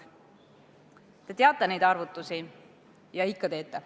Te teate neid arvutusi ja ikka teete.